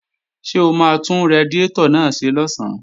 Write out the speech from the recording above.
Ṣé o máa tún radiátọ̀ náà ṣe lọ̀sán?